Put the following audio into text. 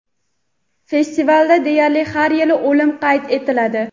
Festivalda deyarli har yili o‘lim qayd etiladi.